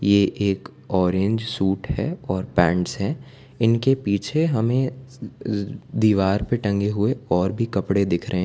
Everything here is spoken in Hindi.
ये एक ऑरेंज सूट है और पेंट्स हैं इनके पीछे हमें ज दीवार पे टंगे हुए और भी कपड़े दिख रहे हैं।